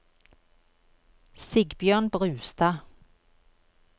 Sigbjørn Brustad